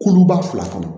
Kuluba fila kɔnɔ